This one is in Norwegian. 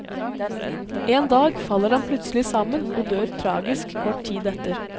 En dag faller han plutselig sammen, og dør tragisk kort tid etter.